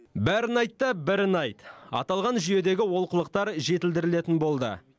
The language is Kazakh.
бәрін айт та бірін айт аталған жүйедегі олқылықтар жетілдірілетін болды